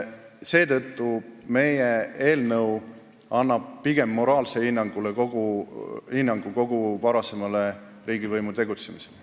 Seetõttu annabki meie eelnõu pigem moraalse hinnangu kogu varasemale riigivõimu tegutsemisele.